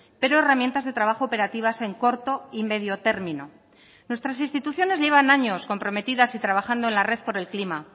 pero herramientas de trabajo operativas en corto y medio término nuestras instituciones llevan años comprometidas y trabajando en la red por el clima